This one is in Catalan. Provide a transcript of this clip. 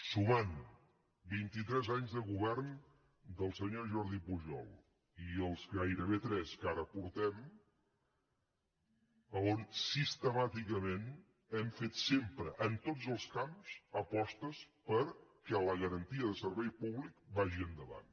sumant vintitres anys de govern del senyor jordi pujol i els gairebé tres que ara portem on sistemàticament hem fet sempre en tots els camps apostes perquè la garantia de servei públic vagi endavant